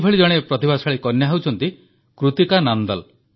ଏଭଳି ଜଣେ ପ୍ରତିଭାଶାଳୀ କନ୍ୟା ହେଉଛନ୍ତି କୃତିକା ନାନ୍ଦଲ